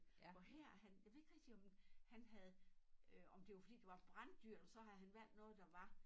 Hvor her han jeg ved ikke rigtig om han havde øh om det var fordi det var branddyrt og så havde han valgt noget der var